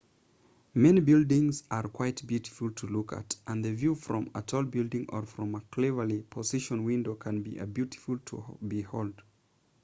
many buildings are quite beautiful to look at and the view from a tall building or from a cleverly-positioned window can be a beauty to behold